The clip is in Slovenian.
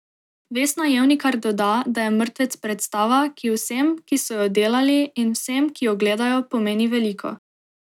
Vesna Jevnikar doda, da je Mrtvec predstava, ki vsem, ki so jo delali, in vsem, ki jo gledajo, pomeni veliko.